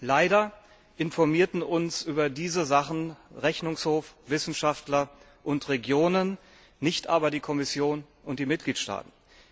Leider informierten uns über diese Sachen Rechnungshof, Wissenschaftler und Regionen, nicht aber die Kommission und die Mitgliedstaaten.